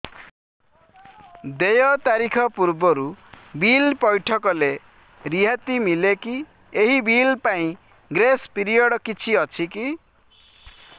ଦେୟ ତାରିଖ ପୂର୍ବରୁ ବିଲ୍ ପୈଠ କଲେ ରିହାତି ମିଲେକି ଏହି ବିଲ୍ ପାଇଁ ଗ୍ରେସ୍ ପିରିୟଡ଼ କିଛି ଅଛିକି